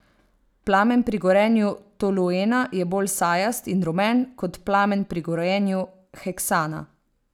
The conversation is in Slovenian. Plamen pri gorenju toluena je bolj sajast in rumen kot plamen pri gorenju heksana.